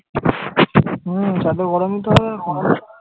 হম ছাদে গরমই তো হবে।